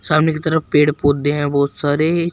सामने की तरफ पेड़ पौधे हैं बहुत सारे।